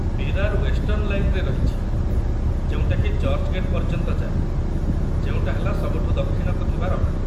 Virar western ଲାଇନ୍‌ରେ ରହିଛି ଯେଉଁଟାକି ଚର୍ଚ୍ଚ୍‌ଗେଟ୍ ପର୍ଯ୍ୟନ୍ତ ଯାଏ, ଯେଉଁଟା ହେଲା ସବୁଠୁ ଦକ୍ଷିଣକୁ ଥିବା ରହଣି ।